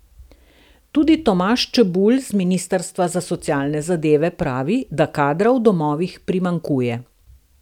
Tudi Tomaž Čebulj s ministrstva za socialne zadeve pravi, da kadra v domovih primanjkuje.